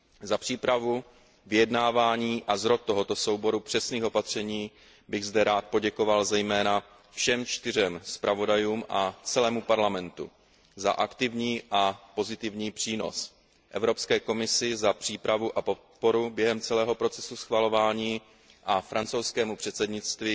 Za přípravu, vyjednávání a zrod tohoto souboru přesných opatření bych zde rád poděkoval zejména všem čtyřem zpravodajům a celému Parlamentu za aktivní a pozitivní přínos, Evropské komisi za přípravu a podporu během celého procesu schvalování a francouzskému předsednictví